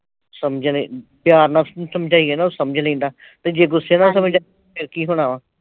ਸਮਝ ਨਈਂ ਪਿਆਰ ਨਾਲ ਸਮਝਾਈਏ ਨਾ ਉਹ ਸਮਝ ਲੈਂਦਾ ਤੇ ਜੇ ਗੁੱਸੇ ਨਾਲ ਸਮਝਾਈਏ ਤੇ ਫਿਰ ਕੀ ਹੋਣਾ ਹੈ?